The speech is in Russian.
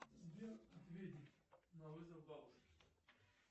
сбер ответить на вызов бабушки